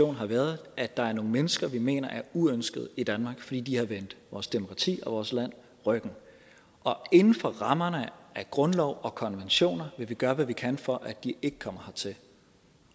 har været at der er nogle mennesker vi mener er uønsket i danmark fordi de har vendt vores demokrati og vores land ryggen og inden for rammerne af grundlov og konventioner vil vi gøre hvad vi kan for at de ikke kommer hertil